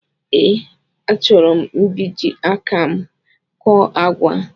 Ee, a chọrọ mbiji áká m kọ́ọ́ àgwà